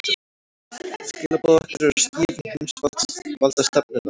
Skilaboð okkar eru skýr um heimsvaldastefnuna